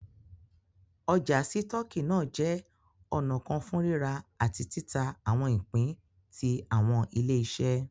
Ọ́jà sítoọki náà jẹ ọ̀nà kan fún rírà àti tìtà awọn ìpín tí awọn ile-iṣẹ